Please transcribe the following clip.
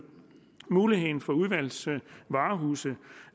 muligheden for udvalgsvarehuse